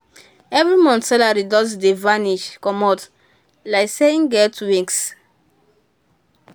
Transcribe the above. every month salary just dey vanish comot like say e get wings.